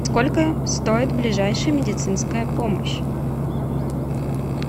сколько стоит ближайшая медицинская помощь